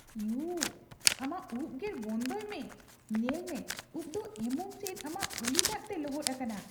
U! ᱟᱢᱟᱜ ᱩᱯ ᱜᱮᱨ ᱵᱚᱱᱫᱚᱭ ᱢᱮ ᱾ ᱧᱮᱞ ᱢᱮ, ᱩᱯ ᱫᱚ ᱮᱢᱚᱱ ᱪᱮᱫ ᱟᱢᱟᱜ ᱩᱞᱤ ᱫᱟᱜᱛᱮ ᱞᱚᱦᱚᱫ ᱟᱠᱟᱱᱟ ᱾